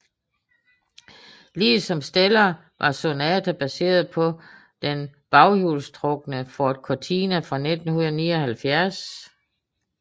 Ligesom Stellar var Sonata baseret på den baghjulstrukne Ford Cortina fra 1979